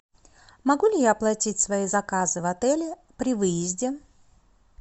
могу ли я оплатить свои заказы в отеле при выезде